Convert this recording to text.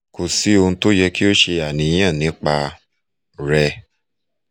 ko si ohun ti o yẹ ki o ṣe aniyan nipa rẹ